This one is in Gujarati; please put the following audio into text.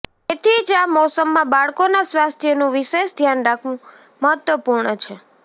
તેથી જ આ મોસમમાં બાળકોના સ્વાસ્થ્યનું વિશેષ ધ્યાન રાખવું મહત્વપૂર્ણ છે